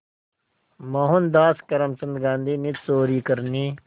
मोहनदास करमचंद गांधी ने चोरी करने